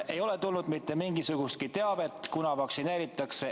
Ei ole tulnud mitte mingisugustki teavet, kunas neid vaktsineeritakse.